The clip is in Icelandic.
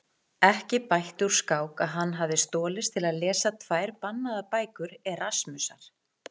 Ekki bætti úr skák að hann hafði stolist til að lesa tvær bannaðar bækur Erasmusar.